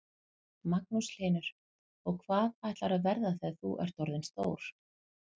Magnús Hlynur: Og hvað ætlarðu að verða þegar þú ert orðin stór?